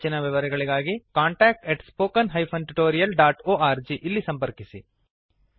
ಹೆಚ್ಚಿನ ವಿವರಗಳಿಗಾಗಿ contact at spoken hyphen tutorial dot org ಇಲ್ಲಿ ಸಂಪರ್ಕಿಸಿ